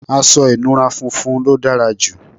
aṣọ ìnura funfun ló dára jù